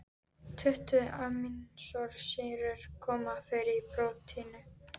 Tuttugu amínósýrur koma fyrir í prótínum.